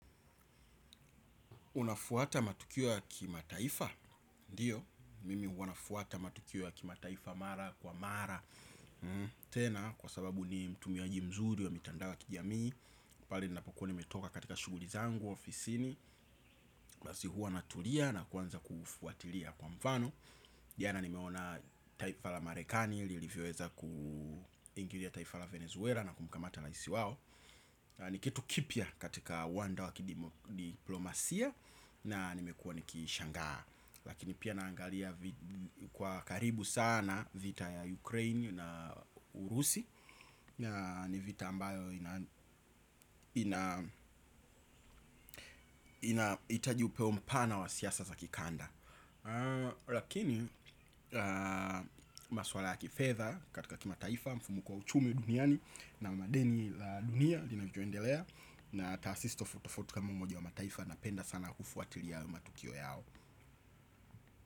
Unafuata matukio ya kima taifa. Ndiyo, mimi huwa nafuata matukio ya kima taifa mara kwa mara. Tena kwa sababu ni utumiaji mzuri wa mitandao ya kijamii. Pali nina pokuwa nimetoka katika shughuli zangu ofisini basi huwa natulia na kuanza kufuatilia kwa mfano. Jana nimeona taifa la marekani lilivyoweza kuingilia taifa la venezuela na kumkamata raisi wao. Ni kitu kipya katika wanda wa kidiplomasia. Na nimekua nikishangaa. Lakini pia naangalia kwa karibu sana vita ya Ukraini na Urusi. Ni vita ambayo inahitaji upeo mpana wa siasa za kikanda. Lakini maswala ya kifedha katika kima taifa mfumo kwa uchumi duniani na madeni la dunia lina vyoendelea. Na taasisi tofauti tofauti kama umoja wa mataifa. Napenda sana kufuatilia matukio yao.